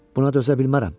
Buna dözə bilmərəm.